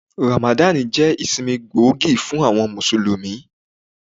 Ramadan jẹ́ ìsinmi gbòógì fún àwọn Mùsùlùmí.